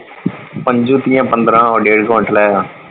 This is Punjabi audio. ਪੰਜ ਤਿਆ ਪੰਦਰਾਂ ਡੇਢ ਕਵਿੰਟਲ ਹੈ।